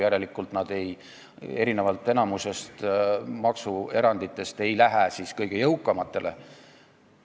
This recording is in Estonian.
Järelikult erinevalt enamikust maksueranditest ei lähe sellest erandist saadav kasu kõige jõukamatele.